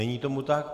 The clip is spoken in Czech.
Není tomu tak.